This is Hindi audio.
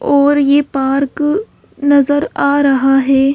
और ये पार्क नजर आ रहा है।